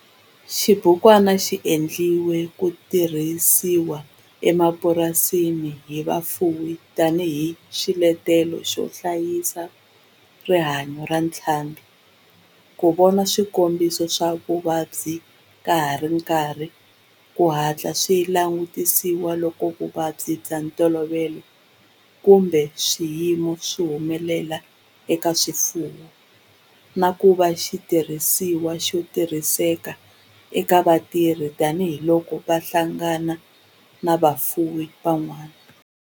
Xibukwana xi endliwe ku tirhisiwa emapurasini hi vafuwi tani hi xiletelo xo hlayisa rihanyo ra ntlhambhi, ku vona swikombiso swa vuvabyi ka ha ri na nkarhi ku hatla swi langutisiwa loko vuvabyi bya ntolovelo kumbe swiyimo swi humelela eka swifuwo, na ku va xitirhisiwa xo tirhiseka eka vatirhi tani hi loko va hlangana na vafuwi van'wana.